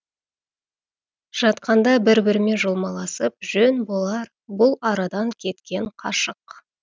жатқанда бір бірімен жұлмаласып жөн болар бұл арадан кеткен қашық